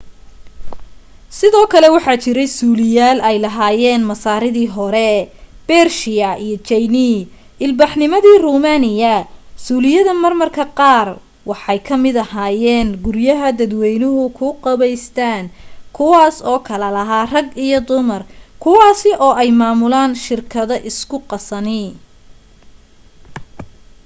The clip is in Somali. sidoo kale waxaa jiray suuliyaal ay lahaayeen masaaridii hore bershiya iyo jayne ilbaxnimadii romaaniya suuliyada marmarka qaar waxay kamid ahaayeen guryaha dadweynu ku qubaystaan kuwaasi oo kala lahaa rag iyo dumar kuwasi oo ay maamulan shirkadu isku qasani